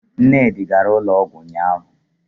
Nnedi gara ụlọọgwụ ụnyahụ